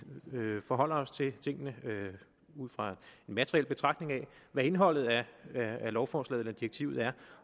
forholder os til tingene ud fra en materiel betragtning af hvad indholdet af lovforslaget eller direktivet er